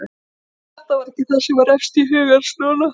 En þetta var ekki það sem var efst í huga hans núna.